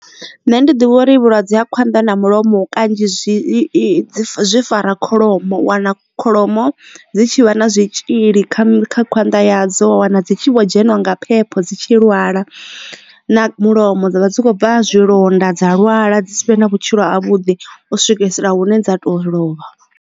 Nṋe ndi ḓivha uri vhulwadze ha khwanḓa na mulomo kanzhi zwi fara kholomo wana kholomo dzi tshi vha na zwitzhili kha khwanda ya dzo na dzi tshi vho dzheniwa nga phepho dzi tshi lwala na mulomo dzavha dzi kho bva zwilonda dza lwala dzi si vhe na vhutshilo ha vhuḓi u swikisela hune dza to lovha.